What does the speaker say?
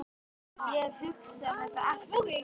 Ég hef hugsað þetta allt út.